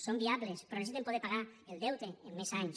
són viables però necessiten poder pagar el deute amb més anys